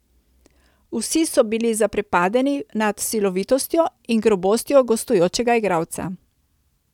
Vsi so bili zaprepadeni nad silovitostjo in grobostjo gostujočega igralca.